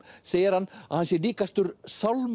segir hann að hann sé líkastur